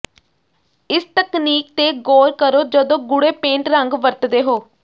ਇਸ ਤਕਨੀਕ ਤੇ ਗੌਰ ਕਰੋ ਜਦੋਂ ਗੂੜ੍ਹੇ ਪੇਂਟ ਰੰਗ ਵਰਤਦੇ ਹੋ